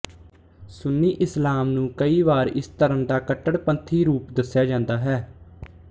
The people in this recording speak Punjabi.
ਸੁੰਨੀ ਇਸਲਾਮ ਨੂੰ ਕਈ ਵਾਰ ਇਸ ਧਰਮ ਦਾ ਕੱਟੜਪੰਥੀ ਰੂਪ ਦੱਸਿਆ ਜਾਂਦਾ ਹੈ